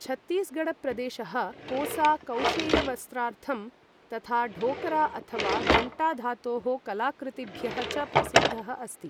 छत्तीसगढ प्रदेशः कोसा कौशेयवस्त्रार्थं तथा ढोकरा अथवा घण्टा धातोः कलाकृतिभ्यः च प्रसिद्धः अस्ति।